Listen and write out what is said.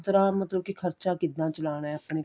ਕਿਸ ਤਰ੍ਹਾਂ ਮਤਲਬ ਕੀ ਖਰਚਾ ਕਿੱਦਾਂ ਚਲਾਨਾ ਆਪਣੇ ਘਰ